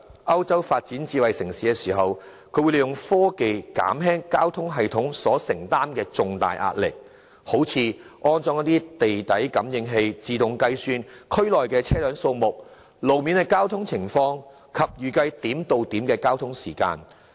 歐洲發展智慧城市時，會利用科技減輕交通系統所承擔的重大壓力，例如安裝地底感應器自動計算區內的車輛數目、路面交通情況及預計點對點的交通時間等。